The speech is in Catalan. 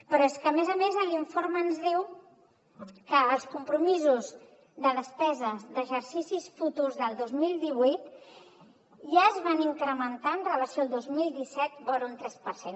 però és que a més a més l’informe ens diu que els compromisos de despeses d’exercicis futurs del dos mil divuit ja es van incrementar amb relació al dos mil disset vora un tres per cent